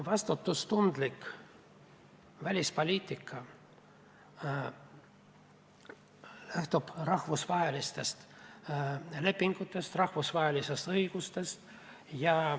Vastutustundlik välispoliitika lähtub rahvusvahelistest lepingutest, rahvusvahelisest õigusest.